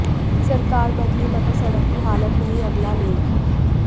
सरकार बदली मगर सड़क की हालत नहीं अगला लेख